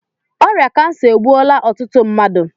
Ọrịa kansa egbuola ọtụtụ mmadụ